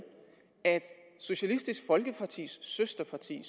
at socialistisk folkepartis søsterparti i